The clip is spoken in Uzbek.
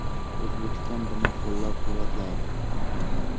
O‘zbekiston buni qo‘llab-quvvatladi.